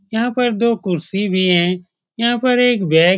यहाँ पर दो कुर्सी भी है यहाँ पर एक बैग --